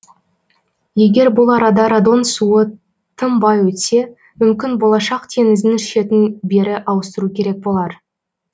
егер бұл арада радон суы тым бай өтсе мүмкін болашақ теңіздің шетін бері ауыстыру керек болар